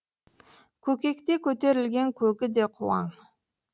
көкекте көтерілген көгі де қуаң